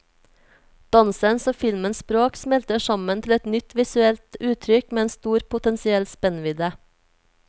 Dansens og filmens språk smelter sammen til et nytt visuelt uttrykk med en stor potensiell spennvidde.